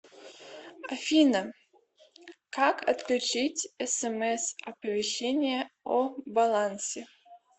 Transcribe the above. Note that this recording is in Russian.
афина как отключить смс оповещение о балансе